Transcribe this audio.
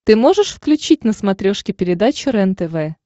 ты можешь включить на смотрешке передачу рентв